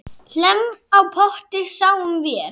Hlemm á potti sáum vér.